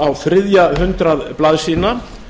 á þriðja hundrað blaðsíðna